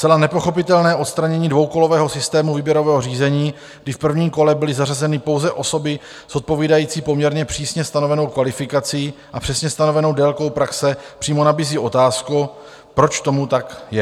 Zcela nepochopitelné odstranění dvoukolového systému výběrového řízení, kdy v prvním kole byly zařazeny pouze osoby s odpovídající poměrně přísně stanovenou kvalifikací a přesně stanovenou délkou praxe, přímo nabízí otázku, proč tomu tak je?